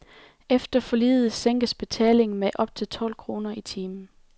Efter forliget sænkes betalingen med op til tolv kroner i timen.